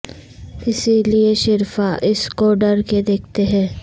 اسی لئے شرفا اس کو ڈر کے دیکھتے ہیں